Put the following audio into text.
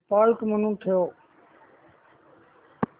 default म्हणून ठेव